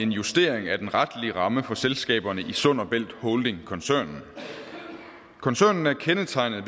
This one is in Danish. en justering af den retlige ramme for selskaberne i sund bælt holding koncernen koncernen er kendetegnet